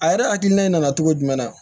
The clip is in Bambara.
A yɛrɛ hakilina in na cogo jumɛn na